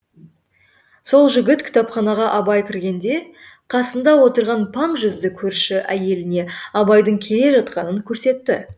сол жігіт кітапханаға абай кіргенде қасында отырған паң жүзді көрші әйеліне абайдың келе жатқанын көрсетті